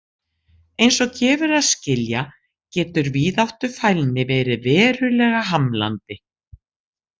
Eins og gefur að skilja getur víðáttufælni verið verulega hamlandi.